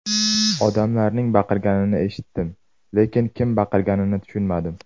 Odamlarning baqirganini eshitdim, lekin kim baqirganini tushunmadim.